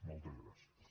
moltes gràcies